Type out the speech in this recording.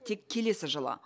тек келесі жылы